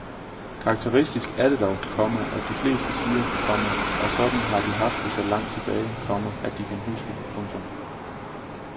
Karakteristisk er det dog, komma at de fleste siger, komma at sådan har de haft det så langt tilbage, komma de kan huske. punktum